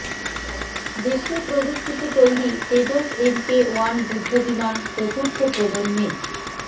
দেশীয় প্রযুক্তিতে তৈরি তেজস এমকে ওয়ান যুদ্ধবিমান চতুর্থ প্রজন্মের